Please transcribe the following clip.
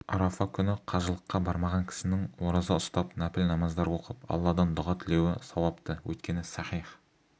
арафа күні қажылыққа бармаған кісінің ораза ұстап нәпіл намаздар оқып алладан дұға тілеуі сауапты өйткені сахих